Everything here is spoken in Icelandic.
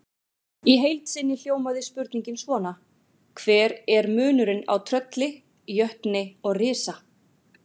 Í heild sinni hljómaði spurningin svona: Hver er munurinn á trölli, jötni og risa?